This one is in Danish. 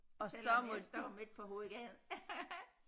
Selvom jeg står midt på hovedgaden